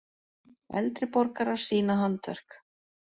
Eldri borgarar sýna handverk